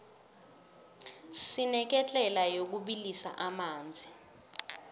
sineketlela yokubilisa amanzi